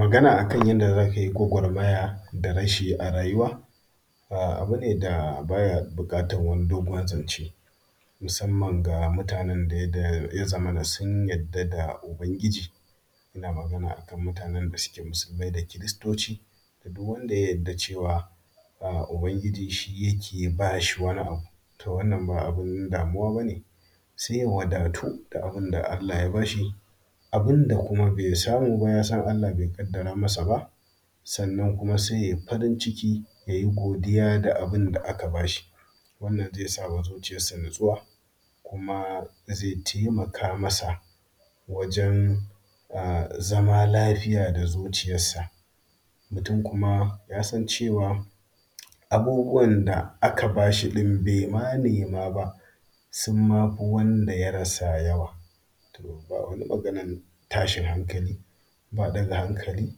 magana akan yanda zakayi gwagwarmaya da rashi a rayuwa abune da baya bukatan wani dogon zance musamman ga mutanen da yazamana sun yadda da ubangiji inna Magana akan mutanen da suke musulmai da kiristoci duwwanda ya yarda cewa ubangiji shi yake bashi wani abu to wannan ba abun damuwa bane sai ya wadatu da abunda Allah ya bashi abunda bai samu ba kuma yasan Allah bai kaddara masa ba sannan kuma sai yayi farin ciki da godiya da abunda aka bashi wannan zai sa zuciyarsa na tsuwa kuma zai taikamaka masa wajen n zaman lafiya da zuciya sa da kuma yasan cewa abubuwan da aka bashi da baima nema ba sunma fi wanda ya rasa yawa to wani maganan tashin hankali ba daga hankali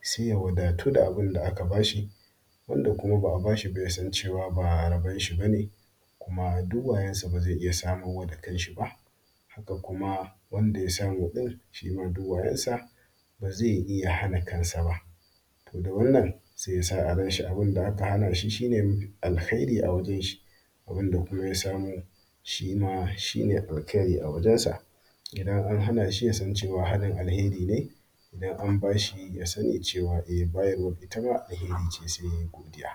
sai ya wadatu da abunda aka bashi wanda kuma ba’a bashi ba sai ya san cewa ba rabon shi bane sannan kuma yasan cewa duk wayansa bazai iyya samowa da kansa ba sannan kuma wanda ya samu din duk wayansa bazai iyya samowa da kansa ba da wannan sai ya sa a ranshi abunda aka hanashi shine alheri a wajenshi abinda kuma ya samu shima shine al heri a wajenshi idan an hanashi yasan cewa ahanin al heri ne idan kuma an bashi shima yasan cewa bayarwan al heri ne sai yayi godiya